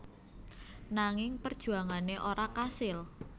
Nanging perjuangane ora kasil